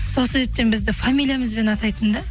сол себептен бізді фамилиямызбен атайтын да